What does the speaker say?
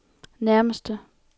nærmeste